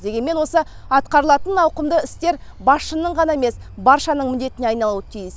дегенмен осы атқарылатын ауқымды істер басшының ғана емес баршаның міндетіне айналуы тиіс